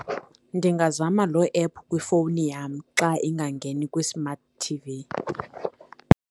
Ndingazama loo ephu kwifowuni yam xa ingangeni kwi-smart T_V.